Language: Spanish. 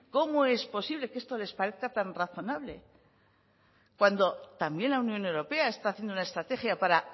cómo es posible que esto les parezca tan razonable cuando también la unión europea está haciendo una estrategia para